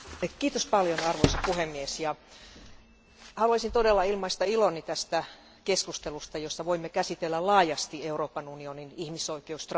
Arvoisa puhemies, haluaisin todella ilmaista iloni tästä keskustelusta, jossa voimme käsitellä laajasti Euroopan unionin ihmisoikeusstrategiaa.